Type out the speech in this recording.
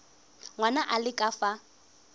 ngwana a le ka fa